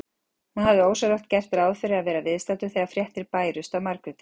Hann hafði ósjálfrátt gert ráð fyrir að vera viðstaddur þegar fréttir bærust af Margréti.